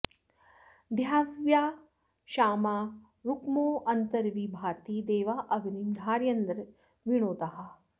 द्यावा॒ क्षामा॑ रु॒क्मो अ॒न्तर्वि भा॑ति दे॒वा अ॒ग्निं धा॑रयन्द्रविणो॒दाः